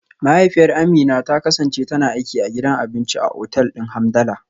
Mahaifiyar Amina ta kasance tana aiki a gidan abinci a otal din Hamdala.